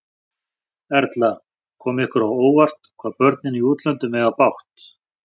Erla: Kom ykkur á óvart, hvað börnin í útlöndum eiga bágt?